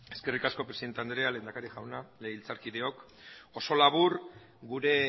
eskerrik asko presidente anderea lehendakaria jauna legebiltzarkideok oso labur gure